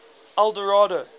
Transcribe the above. eldorado